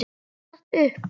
Stattu upp!